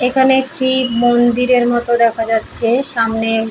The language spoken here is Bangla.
এখানে একটি মন্দিরের মতো দেখা যাচ্ছে সামনে--